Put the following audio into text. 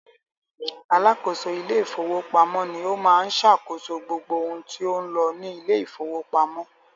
Alákòóso ilé ìfowópamọ́ ni ó ma ń ṣàkóso gbogbo ohun tí ń lọ ní ilé ìfowópamọ́